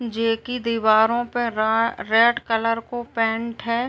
जेके दीवारों पर रा रेड कलर को पेंट है।